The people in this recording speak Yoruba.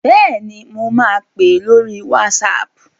Bẹ́ẹ̀ni, mo ma pè ẹ́ lórí WhatsApp